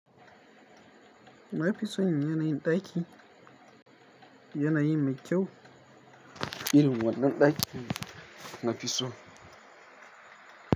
Na fi son yanayin ɗaki, yanayi mai kyau, ilimin wannan ɗakin na fi so.